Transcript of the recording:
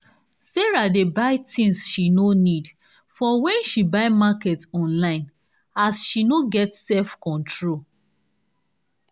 sarah dey buy tins she no need for when she buy market online as she no get self control.